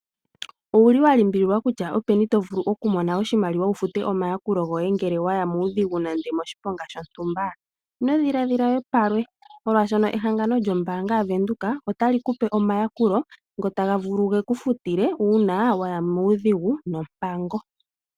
Owu li wa limbililwa kutya openi to mono oshimaliwa wu fute omayakulo goye ngele wa ya muudhigu nenge moshiponga shontumba? Ino dhiladhila we palwe, molwashoka ehangano lyombaanga yaVenduka otali ku pe omayakulo ngoka taga vulu ge ku futile uuna wa ya muudhigu nompango.